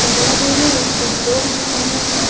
दर्यादेगेर कुब लोग दिसोन येता.